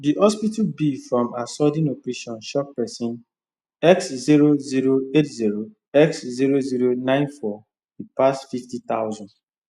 the hospital bill from her sudden operation shock person x zero zero eight zero x zero zero nine four e pass fifty thousand